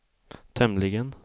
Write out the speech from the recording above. tämligen